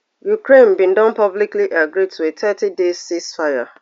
ukraine bin don publicly agree to a thirty day ceasefire